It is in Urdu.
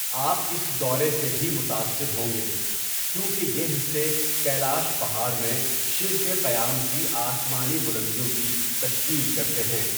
آپ اس دورے سے بھی متاثر ہوں گے کیونکہ یہ حصے کیلاش پہاڑ میں شیو کے قیام کی آسمانی بلندیوں کی تشکیل کرتے ہیں۔